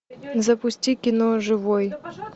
запусти кино живой